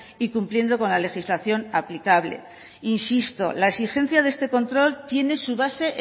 y cumpliendo con la legislación aplicable insisto la exigencia de este control tiene su base